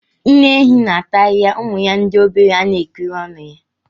Nne ehi na ata ahịhịa ụmụ ya ndị obere ana ekiri ọnụ ya.